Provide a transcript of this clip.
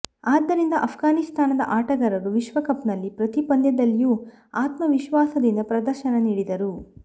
ಆದ್ದರಿಂದ ಅಫ್ಗಾನಿಸ್ತಾನದ ಆಟಗಾರರು ವಿಶ್ವಕಪ್ನಲ್ಲಿ ಪ್ರತಿ ಪಂದ್ಯದಲ್ಲಿಯೂ ಆತ್ಮವಿಶ್ವಾಸದಿಂದ ಪ್ರದರ್ಶನ ನೀಡಿದರು